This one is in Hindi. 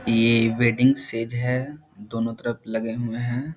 ये वेडिंग स्टेज है दोनों तरफ लगे हुए हैं।